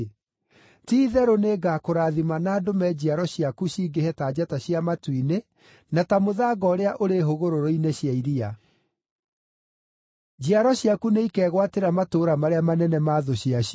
ti-itherũ nĩngakũrathima na ndũme njiaro ciaku cingĩhe ta njata cia matu-inĩ na ta mũthanga ũrĩa ũrĩ hũgũrũrũ-inĩ cia iria. Njiaro ciaku nĩ ikegwatĩra matũũra marĩa manene ma thũ ciacio,